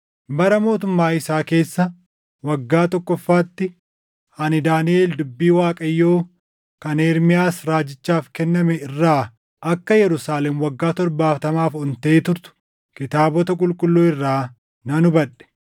bara mootummaa isaa keessa waggaa tokkoffaatti ani Daaniʼel dubbii Waaqayyoo kan Ermiyaas raajichaaf kenname irraa akka Yerusaalem waggaa torbaatamaaf ontee turtu kitaabota qulqulluu irraa nan hubadhe.